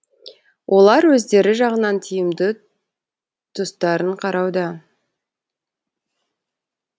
олар өздері жағынан тиімді тұстарын қарауда